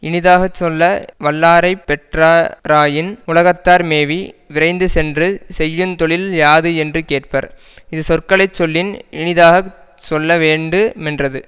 இனிதாக சொல்ல வல்லாரைப் பெற்ற ராயின் உலகத்தார் மேவி விரைந்து சென்று செய்யுந் தொழில் யாது என்று கேட்பர் இது சொற்களை சொல்லின் இனிதாக சொல்லவேண்டு மென்றது